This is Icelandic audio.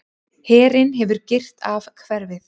Herinn hefur girt af hverfið.